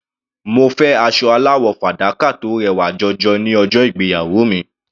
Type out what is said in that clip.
Mo fẹ́ aṣọ aláwọ̀ fàdákà tó rẹwà jọjọ ní ọjọ́ ìgbéyàwó mi.